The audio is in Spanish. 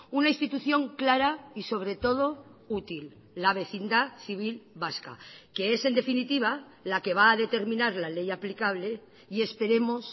una institución clara y sobre todo útil la vecindad civil vasca que es en definitiva la que va a determinar la ley aplicable y esperemos